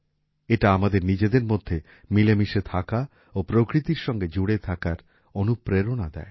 এটা আমাদের নিজেদের মধ্যে মিলেমিশে থাকা ও প্রকৃতির সঙ্গে জুড়ে থাকার অনুপ্রেরণা দেয়